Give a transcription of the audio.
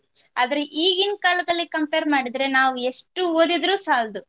ಆದ್ರೆ ಈಗಿನ್ ಕಾಲದಲ್ಲಿ compare ಮಾಡಿದ್ರೆ ನಾವು ಎಷ್ಟು ಓದಿದ್ರು ಸಾಲ್ದು